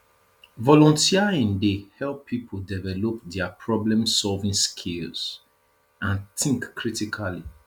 volunteering dey help people develop dia problemsolving skills and think critically